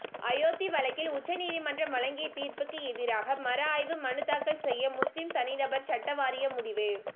அயோத்தி வழக்கில் உச்சநீதிமன்றம் வழங்கிய தீர்ப்புக்கு எதிராக மறு ஆய்வு மனு தாக்கல் செய்ய முஸ்லிம் தனிநபர் சட்டவாரியம் முடிவு